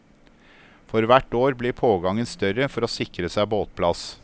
For hvert år blir pågangen større for å sikre seg båtplass.